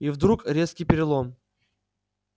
и вдруг резкий перелом